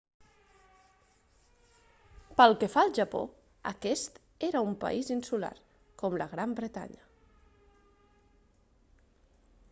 pel que fa al japó aquest era un país insular com la gran bretanya